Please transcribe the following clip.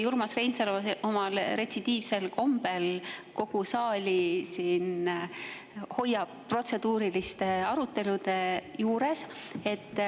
Urmas Reinsalu hoiab omal retsidiivsel kombel kogu saali protseduuriliste arutelude juures.